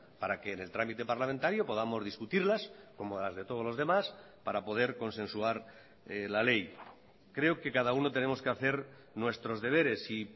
para que en el trámite parlamentario podamos discutirlas como las de todos los demás para poder consensuar la ley creo que cada uno tenemos que hacer nuestros deberes y